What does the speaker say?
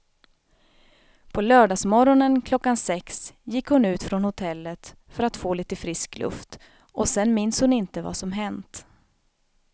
På lördagsmorgonen klockan sex gick hon ut från hotellet för att få lite frisk luft och sen minns hon inte vad som hänt.